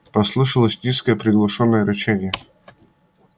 послышалось низкое приглушённое рычание